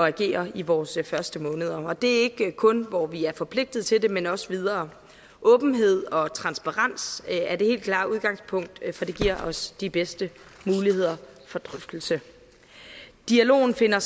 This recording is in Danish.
agere i vores første måneder og det er ikke kun hvor vi er forpligtet til det men også videre åbenhed og transparens er det helt klare udgangspunkt for det giver os de bedste muligheder for drøftelse dialogen finder